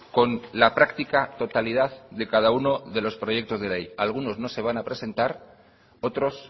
con la práctica totalidad de cada uno de los proyectos de ley algunos no se van a presentar otros